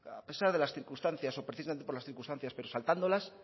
a pesar de las circunstancias o precisamente por las circunstancias pero saltándolas